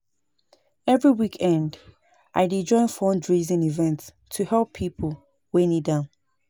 Every weekend, I dey join fundraising events to help people wey need am.